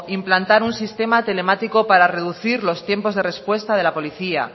implantar un sistema telemático para reducir los tiempos de respuesta de la policía